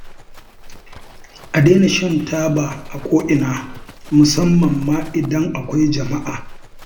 A daina shan taba a ko'ina musamman idan akwai jama'a